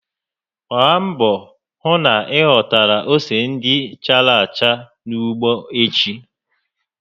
Gbaa mbọ hụ na ị ghọtara ose ndị chárá acha n'ugbo echi!